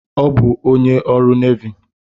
Ọ bụ onye ọrụ nevy.